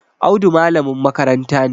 Audu malamin makaranta ne